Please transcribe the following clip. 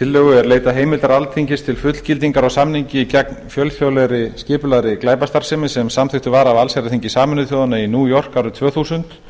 tillögu er leitað heimildar alþingis til fullgildingar á samningi gegn fjölþjóðlegri skipulagðri glæpastarfsemi sem samþykktur var af allsherjarþingi sameinuðu þjóðanna í new york árið tvö þúsund